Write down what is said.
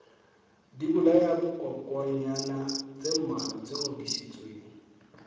dibolayakokwanyana tse mmalwa tse ngodisitsweng